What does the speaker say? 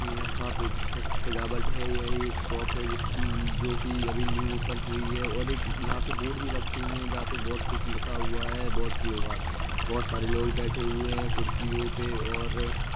यहां पे बहुत सजावट है | यह एक शॉप है जिस जो की अभी न्यू ओपन हुई है और एक यहाँ पे बोर्ड भी रखे हुए हैं जहां पर बहुत कुछ लिखा हुआ है | बहुत लोग बहुत सारे लोग बैठे हुए हैं कुर्सियों पे और--